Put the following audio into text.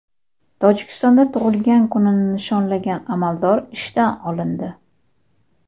Tojikistonda tug‘ilgan kunini nishonlagan amaldor ishdan olindi.